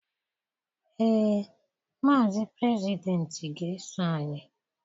Ee, Maazi Prezidenti ga-eso anyị